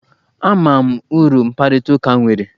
Ama m uru mkparịta ụka nwere.